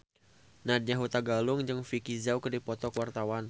Nadya Hutagalung jeung Vicki Zao keur dipoto ku wartawan